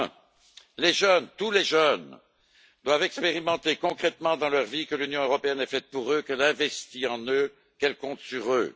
Premièrement, les jeunes, tous les jeunes doivent expérimenter concrètement, dans leur vie, que l'Union européenne est faite pour eux, qu'elle investit en eux, qu'elle compte sur eux.